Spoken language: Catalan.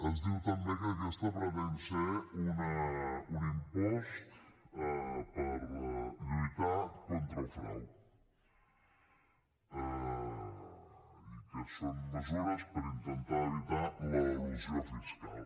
es diu també que aquest pretén ser un impost per lluitar contra el frau i que són mesures per intentar evitar l’elusió fiscal